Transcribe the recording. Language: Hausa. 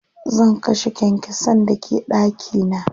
Zan kashe kyankyasan da ke ɗaki na.